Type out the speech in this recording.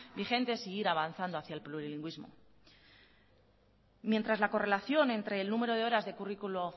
vigentes e ir avanzando hacia el plurilingüismo mientras la correlación entre el número de horas de currículum